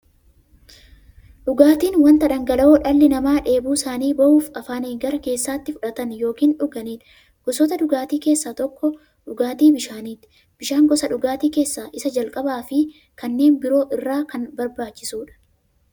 Dhugaatiin wanta dhangala'oo dhalli namaa dheebuu isaanii ba'uuf, afaaniin gara keessaatti fudhatan yookiin dhuganiidha. Gosoota dhugaatii keessaa tokko dhugaatii bishaaniti. Bishaan gosa dhugaatii keessaa isa jalqabaafi kanneen biroo irra kan barbaachisuudha.